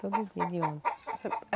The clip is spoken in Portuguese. Todo dia de ônibus.